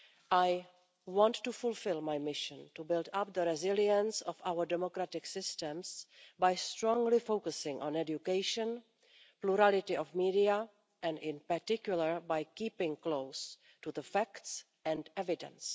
I want to fulfil my mission to build up the resilience of our democratic systems by strongly focusing on education, plurality of media and, in particular, by keeping close to the facts and evidence.